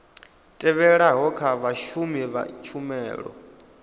tevhelaho kha vhashumi vha tshumelo